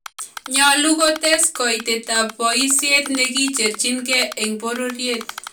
Nyolu ko tes koitoetaab boisyet nikicheerchinkeey eng bororyet